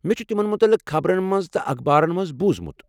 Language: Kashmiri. مےٚ چھُ تِمن متعلق خبرن منٛز تہٕ اخبارن منٛز بوٗزمُت۔